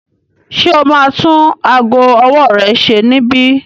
Ṣe o ma tún ago ọwọ́ rẹ ṣe níbí?